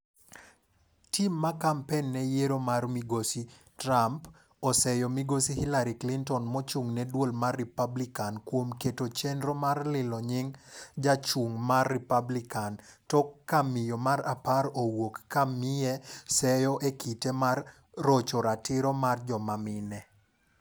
Tim ma Kampen ne yiero mar migosi Trump seyo migosi Hillary Clinton mochung'ne duol mar Democrat kuom keto chenro mar lilo nying' jachung' mar Republican tok ka miyo mar 10 owuok ka miye seyo e kite mar rocho ratiro mar jomamine.